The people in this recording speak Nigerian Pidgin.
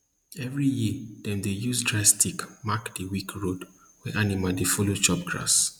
every year dem dey use dry stick mark di weak road wey animal dey follow chop grass